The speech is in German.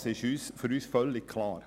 Das ist für uns völlig klar.